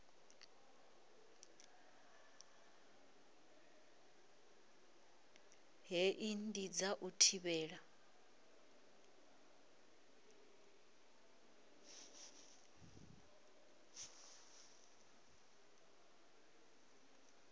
hei ndi dza u thivhela